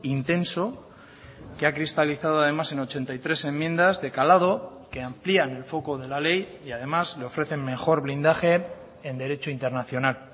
intenso que ha cristalizado además en ochenta y tres enmiendas de calado que amplían el foco de la ley y además le ofrecen mejor blindaje en derecho internacional